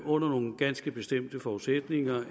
under nogle ganske bestemte forudsætninger